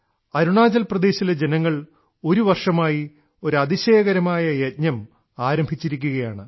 അരുണാചൽ പ്രദേശിലെ ജനങ്ങൾ ഒരു വർഷമായി ഒരു അതിശയകരമായ യജ്ഞം ആരംഭിച്ചിരിക്കുകയാണ്